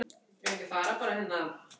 Við erum eina fólkið sem passar saman.